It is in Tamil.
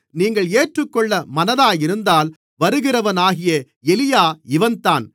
நீங்கள் ஏற்றுக்கொள்ள மனதாயிருந்தால் வருகிறவனாகிய எலியா இவன்தான்